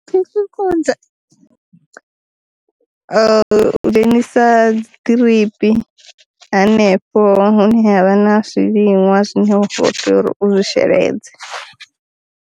U dzhenisa dzi ḓiripi hanefho hune havha na zwiliṅwa zwine wa kho tea uri u sheledza.